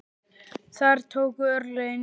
Þar tóku örlögin yfir.